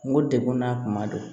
N ko degun n'a kuma don